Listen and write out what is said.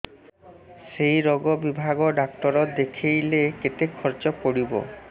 ସେଇ ରୋଗ ବିଭାଗ ଡ଼ାକ୍ତର ଦେଖେଇଲେ କେତେ ଖର୍ଚ୍ଚ ପଡିବ